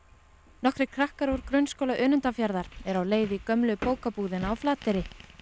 nokkrir krakkar úr Grunnskóla Önundarfjarðar eru á leið í gömlu bókabúðina á Flateyri